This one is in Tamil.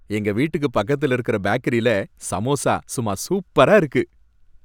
எங்க வீட்டுக்கு பக்கத்துல இருக்கிற பேக்கரில சமோசா சும்மா சூப்பரா இருக்கு.